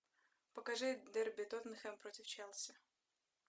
покажи дерби тоттенхэм против челси